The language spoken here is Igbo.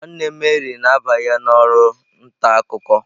Nwanne Mary na-abanye na oru nta akuko.